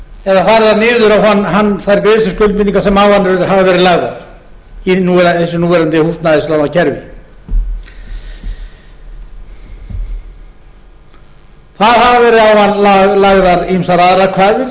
eða færðar niður á hann þær greiðsluskuldbindingar sem á hann hafa verið lagðar í þessu núverandi húsnæðislánakerfi það hafa verið lagðar á hann ýmsar aðrar